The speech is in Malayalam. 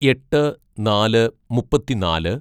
"എട്ട് നാല് മുപ്പത്തിന്നാല്‌